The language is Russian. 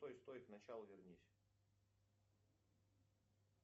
стой стой к началу вернись